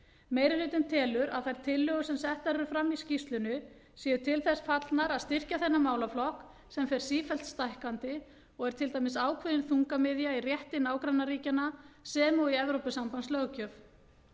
meiri hlutinn telur að þær tillögur sem settar eru fram í skýrslunni séu til þess fallnar að styrkja þennan málaflokk sem fer sífellt stækkandi og er til dæmis ákveðin þungamiðja í rétti nágrannaríkjanna sem og í evrópusambandslöggjöf